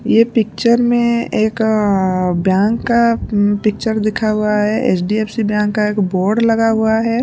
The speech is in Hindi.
ये पिक्चर में एक अअअ बैंक का पिक्चर दिखा हुआ है एच_डी_एफ_सी बैंक का एक बोर्ड लगा हुआ है।